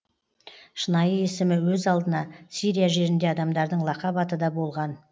шынайы есімі өз алдына сирия жерінде адамдардың лақап аты да болған